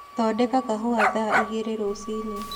thondeka kahũa thaa ĩgĩrĩ rũcĩĩnĩ